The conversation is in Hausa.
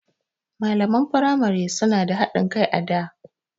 Malaman firamai suna da haɗin kai a da.